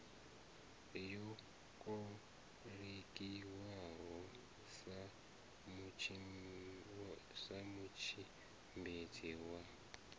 yo kolekiwaho sa mutshimbidzi wa